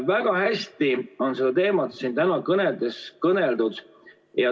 Väga hästi on seda teemat siin täna kõnedes kõneldud.